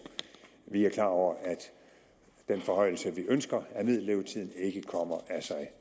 vi er klar over at den forhøjelse af vi ønsker ikke kommer af sig